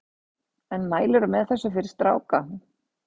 En mælirðu með þessu fyrir stráka?